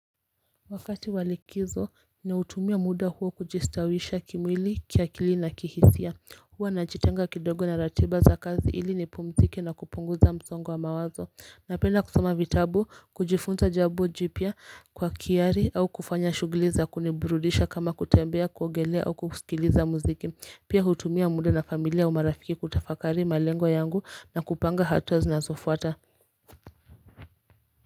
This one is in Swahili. Wakati wa likizo ni hutumia muda huo kujistawisha kimwili kiakili na kihisia huwa najitenga kidogo na ratiba za kazi ili ni pumziki na kupunguza msongo wa mawazo Napenda kusoma vitabu kujifunza jabo jipya kwa kiari au kufanya shugiliza kuniburudisha kama kutembea kuogelea au kusikiliza muziki pia hutumia muda na familia au marafiki kutafakari malengo yangu na kupanga hatua zinazofuata.